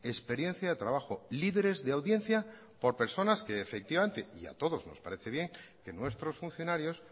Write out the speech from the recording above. experiencia de trabajo líderes de audiencia por personas que efectivamente y a todos nos parece bien que nuestros funcionarios